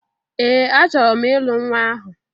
Ee! Achọrọ m ịlụ nnwa ahụ.